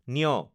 ঞ